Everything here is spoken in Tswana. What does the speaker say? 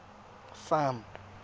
farm